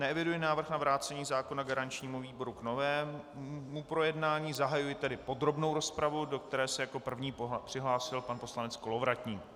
Neeviduji návrh na vrácení zákona garančnímu výboru k novému projednání, zahajuji tedy podrobnou rozpravu, do které se jako první přihlásil pan poslanec Kolovratník.